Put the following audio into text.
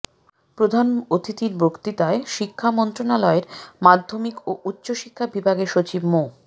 প্রধান অতিথির বক্তৃতায় শিক্ষা মন্ত্রনালয়ের মাধ্যমিক ও উচ্চ শিক্ষা বিভাগের সচিব মো